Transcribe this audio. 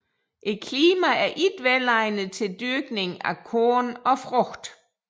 Klimaet er ikke velegnet til dyrkning af korn og frugt